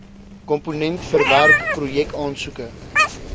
komponent verwerk projekaansoeke